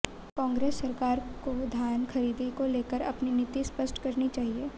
कांग्रेस सरकार को धान खरीदी को लेकर अपनी नीति स्पष्ट करनी चाहिए